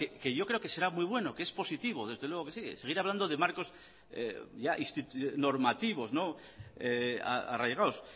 que yo creo que será muy bueno que es positivo desde luego que sí seguir hablando de marcos normativos arraigados